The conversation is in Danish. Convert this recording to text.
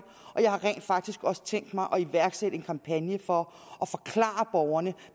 og jeg har rent faktisk også tænkt mig at iværksætte en kampagne for at forklare borgerne